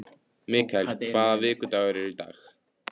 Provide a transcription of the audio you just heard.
Mikael, hvaða vikudagur er í dag?